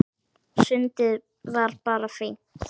Sundið var bara fínt.